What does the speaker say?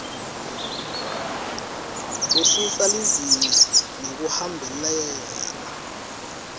wehlisa lizinga ngekuhambelana